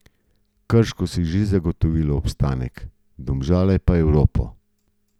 Krško si je že zagotovilo obstanek, Domžale pa Evropo.